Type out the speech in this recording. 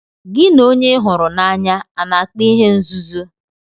Gị na onye ị hụrụ n'anya a na-akpa ihe nzuzo?